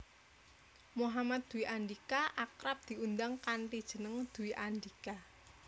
Muhammad Dwi Andhika akrab diundang kanthi jeneng Dwi Andhika